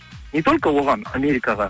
не только оған америкаға